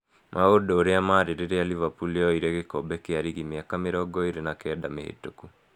Maũndũ ũrĩa marĩ rĩrĩa Liverpool yoire gĩkombe kĩa rigi mĩaka 29 mĩhĩtũku.